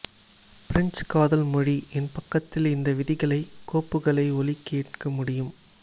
பிரஞ்சு காதல் மொழி என் பக்கத்தில் இந்த விதிகளை கோப்புகளை ஒலி கேட்க முடியும்